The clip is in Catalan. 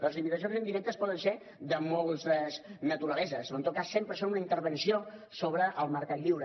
les limitacions indirectes poden ser de moltes naturaleses però en tot cas sempre són una intervenció sobre el mercat lliure